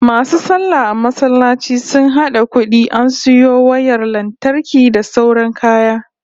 MAsu sallah a masallacin sun hada kudi an sayo wayar lantarki da sauran kaya